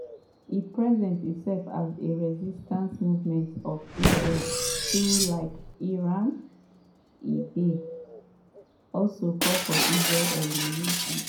e present itself as a resistance movement to israel though like iran e dey also call for israel elimination.